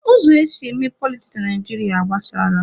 Ụzọ esi eme politiks na Naijiria agbasaala.